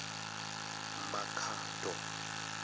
makhado